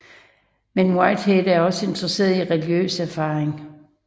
Men Whitehead var også interesseret i religiøs erfaring